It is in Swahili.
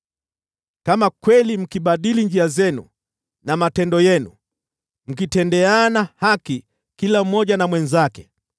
Kama kweli mkibadili njia zenu na matendo yenu, mkatendeana haki kila mmoja na mwenzake,